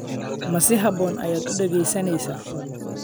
Ma si habboon ayaad u dhegaysanaysaa?